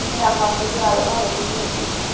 ਸਾਮਾਂ ਨੂੰ ਬੱਚੇ ਆ ਜਾਣਾ